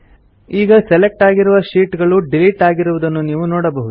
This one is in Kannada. ಈಗ ಸೆಲೆಕ್ಟ್ ಆಗಿರುವ ಶೀಟ್ ಗಳು ಡಿಲಿಟ್ ಆಗಿರುವುದನ್ನು ನೀವು ನೋಡಬಹುದು